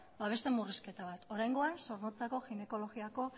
beste murrizketa bat oraingoan zornotzako ginekologia